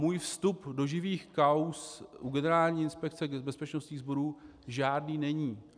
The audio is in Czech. Můj vstup do živých kauz u Generální inspekce bezpečnostních zdrojů žádný není.